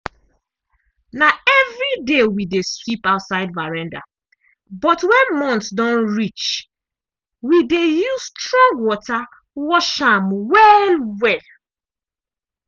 na evriday we dey sweep outside veranda but when month don reach we dey use strong water wash am well-well.